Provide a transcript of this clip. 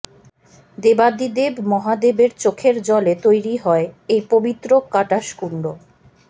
দেবাদিদেব মহাদেবের চোখের জলে তৈরি হয় এই পবিত্র কাটাসকুন্ড